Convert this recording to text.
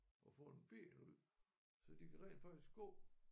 At få en ben ud så de kan rent faktisk gå